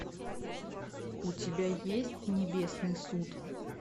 у тебя есть небесный суд